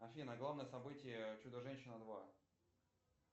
афина главное событие чудо женщина два